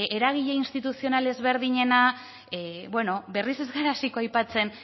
eragile instituzional ezberdinena bueno berriz ez gara hasiko aipatzen